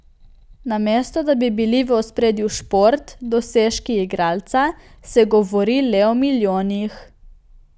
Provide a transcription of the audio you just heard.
Namesto da bi bili v ospredju šport, dosežki igralca, se govori le o milijonih.